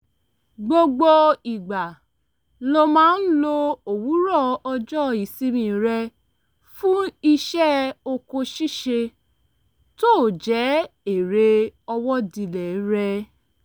gbogbo ìgbà ló máa ń lo òwúrọ̀ ọjọ́ ìsinmi rẹ̀ fún iṣẹ́ oko ṣíṣe tó jẹ́ eré ọwọ́dilẹ̀ rẹ̀